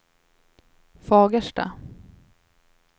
Fagersta